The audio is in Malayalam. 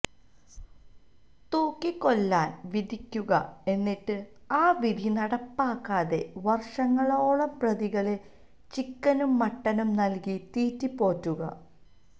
തൂക്കിക്കൊല്ലാന് വിധിക്കുക എന്നിട്ട് ആ വിധി നടപ്പാക്കാതെ വര്ഷങ്ങളോളം പ്രതികളെ ചിക്കനും മട്ടനും നല്കി തീറ്റിപ്പോറ്റുക